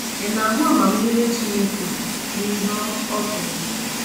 Ị na-ahụ amamihe Chineke n’ihe ọ ọ kere?